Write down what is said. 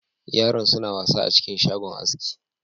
Yaran suna wasa a cikin shagon aski.